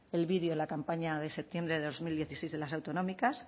el vídeo de la campaña de septiembre de dos mil dieciséis de las autonómicas